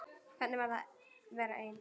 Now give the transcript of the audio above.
Hvernig er að vera ein?